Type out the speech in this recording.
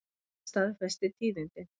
Ari staðfesti tíðindin.